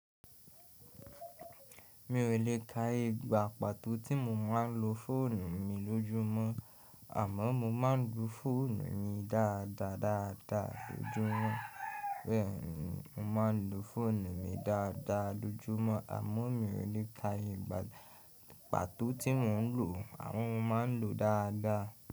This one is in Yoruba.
Mi ò lè ka ìgbà pàtó tí mo máa ń lo fóònù mi lójúmọ́ àmọ́ mo máa ń lo fóònù yí dáadáa dáadáa lójúmọ́. Bẹ́ẹ̀ni mo máa ń lo fóònù mi dáadáa lójúmọ́ àmọ́ mi ò lè ka ìgbà pàtó tí mo ń lò ó àwọn mo máa ń lò ó dáadáa.